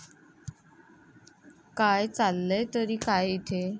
काय, चाललंय तरी काय इथे?